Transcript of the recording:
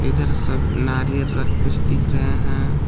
इधर सब नारियल रख कुछ दिख रहे हैं।